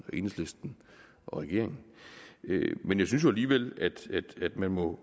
og enhedslisten og regeringen men jeg synes alligevel at man må